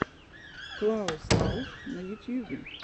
клаус рауш на ютьюбе